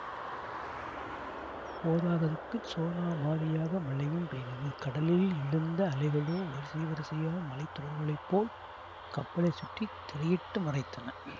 போதாதற்குச் சோனாமாரியாக மழையும் பெய்தது கடலில் எழுந்த அலைகளோ வரிசை வரிசையான மலை தொடர்களைப்போல் கப்பலைச் சுற்றி திரையிட்டு மறைத்தன